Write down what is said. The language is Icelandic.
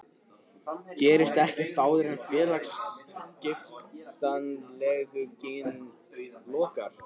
Gerist ekkert áður en félagaskiptaglugginn lokar?